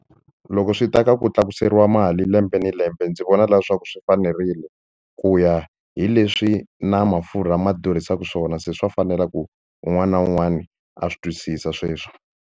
Loko swi ta ka ku tlakuseriwa mali lembe ni lembe ndzi vona leswaku swi fanerile ku ya hi leswi na mafurha ma durhisaka swona se swa fanela ku un'wana na un'wana a swi twisisa sweswo.